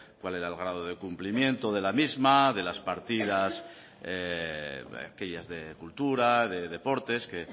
cuál era el grado de cumplimiento de la misma de las partidas aquellas de cultura de deportes que